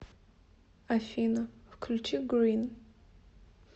афина включи грин